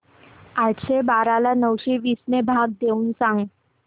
आठशे बारा ला नऊशे वीस ने भाग देऊन सांग